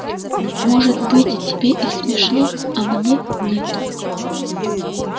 может быть тебе и смешно а мне нет